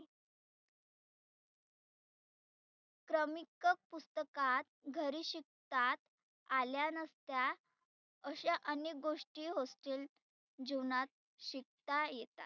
क्रमिक पुस्तकात घरी शिकतात आल्या नसत्या अशा अनेक गोष्टी hostel जिवनात शिकता येतात.